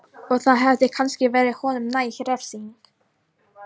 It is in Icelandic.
Og það hefði kannski verið honum næg refsing.